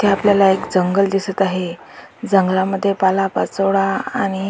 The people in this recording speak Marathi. इथे आपल्याला एक जंगल दिसत आहे जंगलामद्धे पालापाचोळा आणि--